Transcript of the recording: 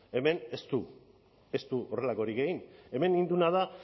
hemen ez du ez du horrelakorik egin hemen egin duena da